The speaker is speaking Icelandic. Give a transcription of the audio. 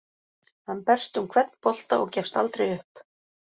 Hann berst um hvern bolta og gefst aldrei upp.